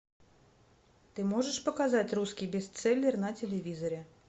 ты можешь показать русский бестселлер на телевизоре